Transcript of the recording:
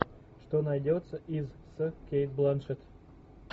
что найдется из с кейт бланшетт